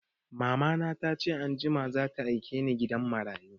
Mamana ta ce anjima za ta aike ni gidan marayu